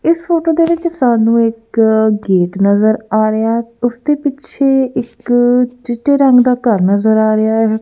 ਇਸ ਫੋਟੋ ਦੇ ਵਿੱਚ ਸਾਨੂੰ ਇੱਕ ਗੇਟ ਨਜ਼ਰ ਆ ਰਿਹਾ ਹੈ ਉਸਦੇ ਪਿੱਛੇ ਇੱਕ ਚਿੱਟੇ ਰੰਗ ਦਾ ਘਰ ਨਜ਼ਰ ਆ ਰਿਹਾ ਹੈ।